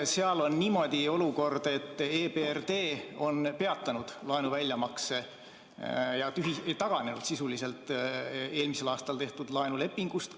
Seal on olukord selline, et EBRD on peatanud laenu väljamakse ja taganenud sisuliselt eelmisel aastal tehtud laenulepingust.